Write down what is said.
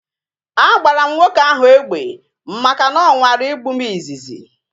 A gbara m nwoke ahu egbe maka na ọ nwara igbu m izizi